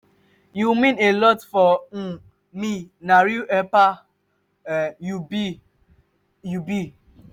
you mean a lot for um me na real helper um you um you be. um